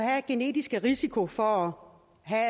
af genetisk risiko for